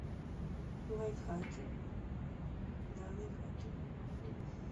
лайфхаки да лайфхаки